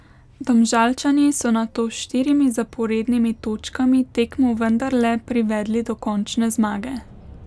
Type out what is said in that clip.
Domžalčani so nato s štirimi zaporednimi točkami tekmo vendarle privedli do končne zmage.